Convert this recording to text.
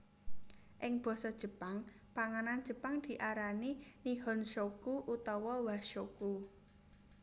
Ing basa Jepang panganan jepang diarani nihonshoku utawa washoku